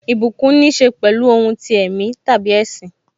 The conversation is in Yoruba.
Ìbùkún níse pẹ̀lú ohun ti ẹ̀mí tàbí ẹṣin.